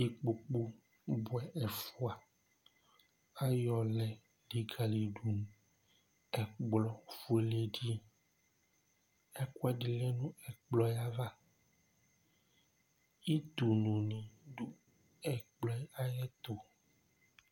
ikpoku buɛ ɛfua ayɔ lɛ likali do ɛkplɔ fuele di ɛkò ɛdi lɛ n'ɛkplɔ yɛ ava utu nuli do ɛkplɔ yɛ ayi ɛto